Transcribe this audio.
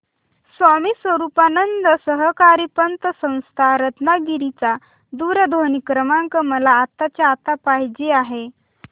स्वामी स्वरूपानंद सहकारी पतसंस्था रत्नागिरी चा दूरध्वनी क्रमांक मला आत्ताच्या आता पाहिजे आहे